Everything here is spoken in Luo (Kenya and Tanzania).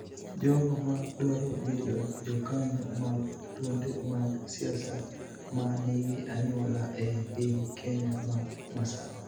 Jogo ma dwaro bedo jokanyo mag duonde mag siasa ma nigi anyuola e piny Kenya ma masawa